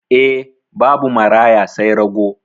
Eh, babu maraya sai rago.